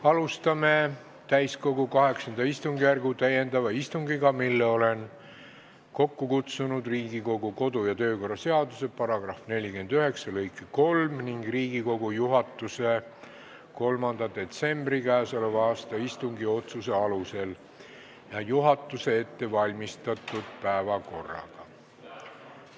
Alustame täiskogu VIII istungjärgu täiendavat istungit, mille olen kokku kutsunud Riigikogu kodu- ja töökorra seaduse § 49 lõike 3 ja Riigikogu juhatuse 3. detsembri k.a istungi otsuse alusel ning juhatuse ettevalmistatud päevakorraga.